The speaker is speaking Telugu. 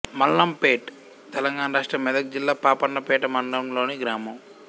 మల్లంపేట్ తెలంగాణ రాష్ట్రం మెదక్ జిల్లా పాపన్నపేట మండలంలోని గ్రామం